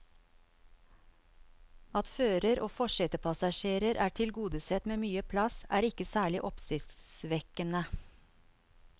At fører og forsetepassasjer er tilgodesett med mye plass, er ikke særlig oppsiktsvekkende.